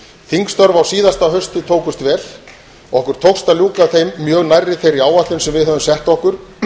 þingstörf á síðasta hausti tókust vel okkur tókst að ljúka þeim mjög nærri þeirri áætlun sem við höfðum sett okkur